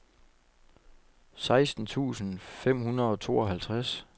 seksten tusind fem hundrede og tooghalvtreds